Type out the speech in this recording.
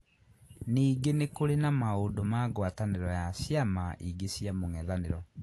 Ningĩ nĩ kũrĩ na maũndũ ma ngwatanĩro ya ciama ingĩ cia mūng’ethanīro.